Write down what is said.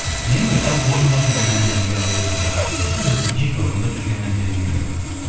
енді жалпы орындалып жүрген әндердің бәрі өзімізге қатысы бар ғой өзімнің жеке орындап жүрген әндерім де